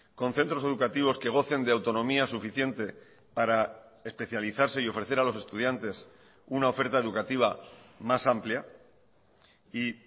con centros educativos que gocen de autonomía suficiente para especializarse y ofrecer a los estudiantes una oferta educativa más amplia y